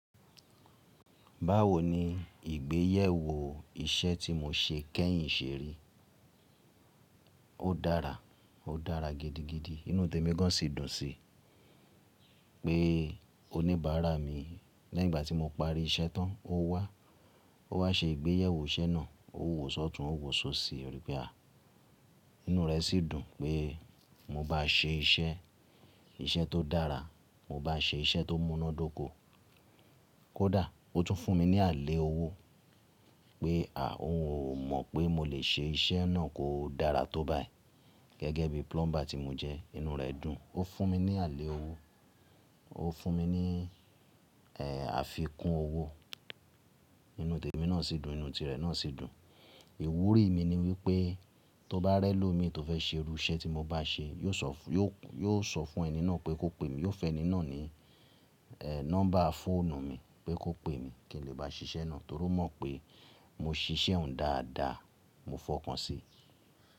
Báwo ni ìgbéyèwò iṣẹ́ tí mo ṣe kẹ́yìn ṣeri? Ó dára, ó dára gidigidi. Inú tèmi gan si dùn sí i pé oníbàárà mi leyinígbà tí mo parí iṣẹ́ tán, ó wá, ó wá ṣe ìgbéyèwò iṣẹ́ náà, ó wò sọ́tùn, ó wò sóṣìí. Ó rí pé à, inú rẹ̀ sì dùn pé mo bá ṣe iṣẹ́, iṣẹ́ tó dára, mo bá ṣe iṣẹ́ tó múnádóko. Kódà ó tún fún mi ní àlẹ́ owó pé à, òun ò mọ̀ pé mo lè ṣe iṣẹ́ náà kó dára tó báyi gẹ́gẹ́ bí plumber tí mo jẹ́. Inú rẹ̀ dùn, ó fún mi ní àlẹ́ owó, ó fún mi ní, àfikún owó. Inú tèmi náà sì dùn, inú tirẹ̀ náà sì dùn. Ìwúrí mi ni wípé tó bá rẹ́ lómi tó fẹ́ ṣe irú iṣẹ́ tí mo bá ṣe, yóò sọ fún, yóò, yóò sọ fún ẹni náà pé kó pè mí, yóò fẹ́ ẹni náà ní, nọ́mbà fóònù mi pé kó pè mí kí n lè bá ṣiṣẹ́ náà torí ó mọ̀ pé mo ṣiṣẹ́ òun dáadáa. Mo fọkàn sí i.